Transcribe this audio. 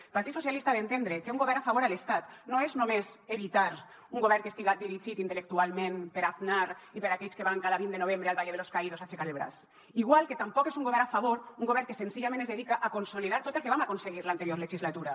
el partit socialista ha d’entendre que un govern a favor a l’estat no és només evitar un govern que estiga dirigit intel·lectualment per aznar i per aquells que van cada vint de novembre al valle de los caídos a aixecar el braç igual que tampoc és un govern a favor un govern que senzillament es dedica a consolidar tot el que vam aconseguir l’anterior legislatura